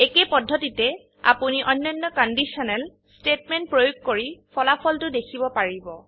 একেই পদ্ধতিতে আপোনি অন্যান্য কণ্ডিশ্যনেল স্তেটমেন্ট প্ৰয়োগ কৰি ফলাফলটো দেখিব পাৰিব